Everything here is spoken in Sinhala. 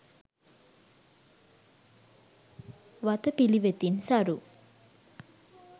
වතපිළිවෙතින් සරු